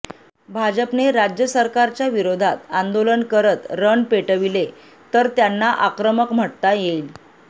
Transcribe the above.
भाजपने राज्य सरकारच्या विरोधात आंदोलन करत रण पेटविले तर त्यांना आक्रमक म्हटता येईल